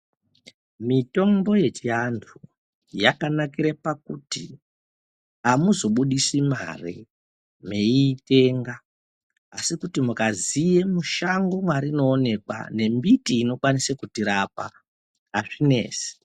Mitombo yechiantu yakanakire pakuti hamuzobuditse mari meitenga asi mukaziye mushango marinoonekwa nembiti inokwanise kutirapa hazvinesi.